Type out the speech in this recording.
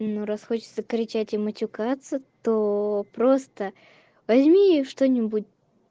ну раз хочется кричать и матюкается то просто возьми что-нибудь